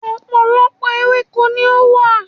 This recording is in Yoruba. Ọ̀pọ̀lọpọ̀ ewéko ni ó wà